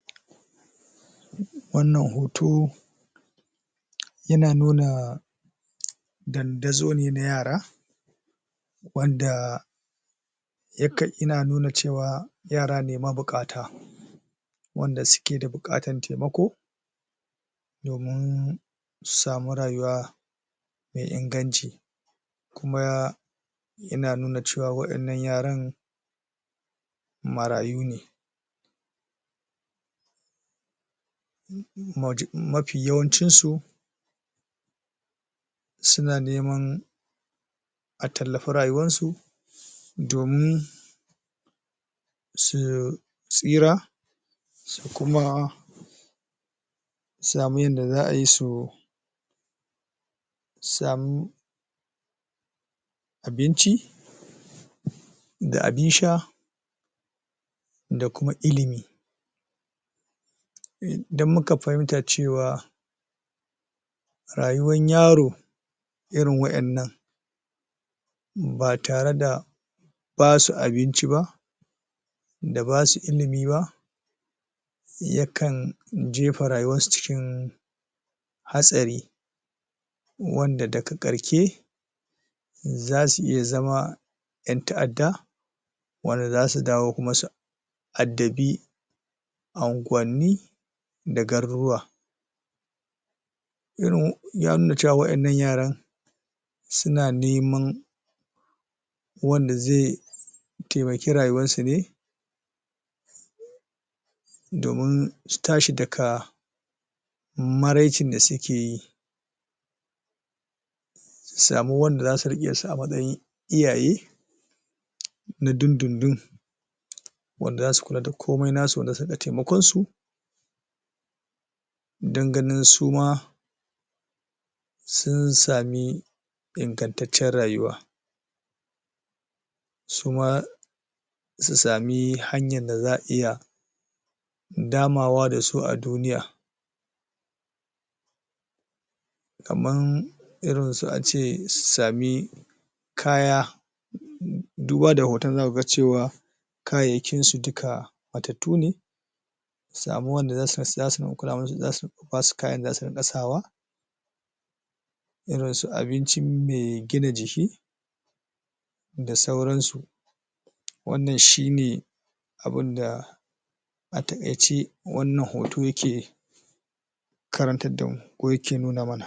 wannan hoto yana nuna dandazo ne na yara wanda ya ka ina nuna cewa yara ne mabuƙata wanda suke da buƙatan taimako domin su samu rayuwa me inganci kuma yana nuna cewa waɗannan yaran marayu ne maj mafi yawancinsu suna neman a tallafi rayuwansu domin su tsira su kuma samun yanda za ai su samu abinci da abin sha da kuma ilimi um dan muka fahimta cewa rayuwan yaro irin wa'yannan ba tare da ba su abinci ba da ba su ilimi ba yakan jefa rayuwarsu cikin hatsari wanda daga ƙarke za su iya zama 'yan ta'adda wanda za su dawo kuma su addabi unguwanni da garuruwa irin ya nuna cewa wa'yannan yaran suna neman wanda ze taimaki rayuwarsu ne domin su daka maraicin da suke yi su samu wanda za su riƙe su a matsayin iyaye na dindin din wanda za su kula da komai na su wanda suka taimakonsu don ganin su ma sun sami ingantaccen rayuwa su ma su sami hanyar da za a iya damawa da su a duniya kaman irinsu ace sabi kaya um duba da hoton za ka cewa kayayyakinsu duka matattu ne samu wanda za su kula musu ba su kayan da riƙa sawa abincin me gina jiki da sauransu wannan shi ne abinda a taƙaice wanman hoto yake karantar damu ko yake nuna mana